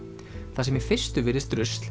það sem í fyrstu virðist rusl